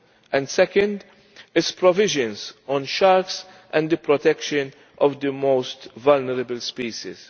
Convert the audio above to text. and, second, its provisions on sharks and the protection of the most vulnerable species.